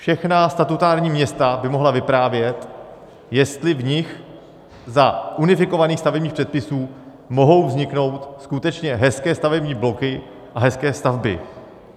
Všechna statutární města by mohla vyprávět, jestli v nich za unifikovaných stavebních předpisů mohou vzniknout skutečně hezké stavební bloky a hezké stavby.